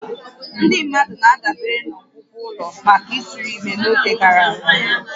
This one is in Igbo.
Ndị mmadụ na-adabere na ọgwụgwọ ụlọ maka ịtụrụ ime n'oge gara aga